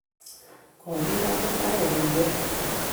Kogibat mbarengung amut